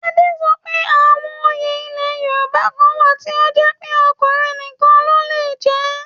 Ade sọ pé àwọn òye ilẹ̀ Yorùbá kan wà tí ó jẹ́ pé ọkùnrin nìkan ló ń jẹ ẹ́